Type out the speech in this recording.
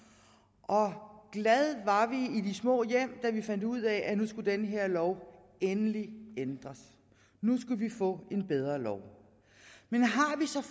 og glade var vi i de små hjem da vi fandt ud af at nu skulle denne her lov endelig ændres nu skulle vi få en bedre lov men